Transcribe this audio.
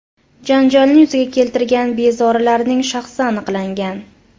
Janjalni yuzaga keltirgan bezorilarning shaxsi aniqlangan.